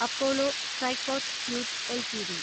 Apollo Tricoat tubes LTD